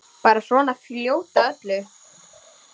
Bara svona fljót að öllu.